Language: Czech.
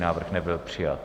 Návrh nebyl přijat.